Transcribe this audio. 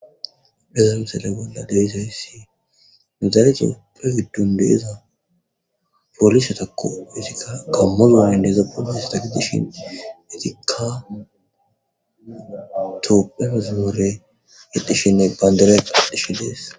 deza misele bolla dewizawyssi nizaalete prefidun deeza polisa tako mutika kammozane ndeeza poolis ta kedishin itika to peozimore edishinne bayndire adhishe dees